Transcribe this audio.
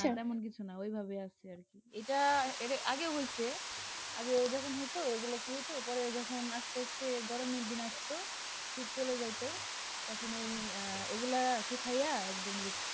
না না এমন কিছু না ওইভাবে আছে আর কি, এইটা এইটা আগে হইছে, আগে ওইরকম হইত পরে যখন আস্তে আস্তে গরমের দিন আসত শীত চলে যাইত, তখন ওই ওগুলা শুকাইয়া একদম